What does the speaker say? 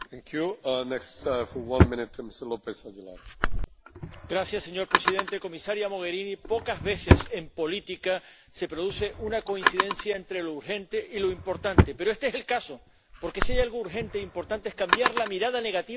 Señor presidente, comisaria Mogherini, pocas veces en política se produce una coincidencia entre lo urgente y lo importante, pero este es el caso, porque si hay algo urgente e importante es cambiar la mirada negativa de la Unión Europea sobre la inmigración, que no es una